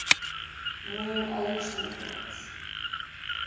new age movement